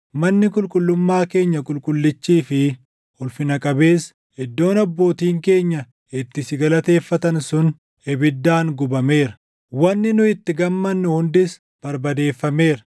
Manni qulqullummaa keenya qulqullichii fi ulfina qabeessi, iddoon abbootiin keenya itti si galateeffatan sun ibiddaan gubameera; wanni nu itti gammannu hundis barbadeeffameera.